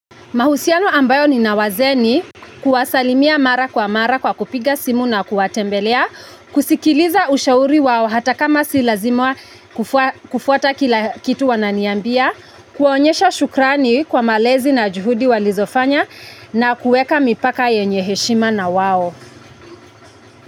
Mahusiano ambayo nina wazee ni, kuwasalimia mara kwa mara kwa kupiga simu na kuwatembelea, kusikiliza ushauri wao hata kama si lazima kufuata kila kitu wananiambia, kuwaonyesha shukrani kwa malezi na juhudi walizofanya na kuweka mipaka yenye heshima na wao.